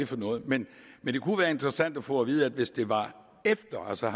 for noget men det kunne være interessant at få at vide at hvis det var efter altså